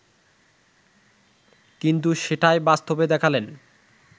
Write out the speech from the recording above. কিন্তু সেটাই বাস্তবে দেখালেন